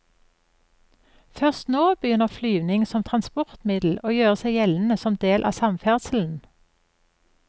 Først nå begynner flyvning som transportmiddel å gjøre seg gjeldende som del av samferdselen.